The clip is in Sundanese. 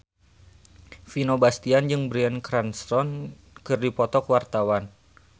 Vino Bastian jeung Bryan Cranston keur dipoto ku wartawan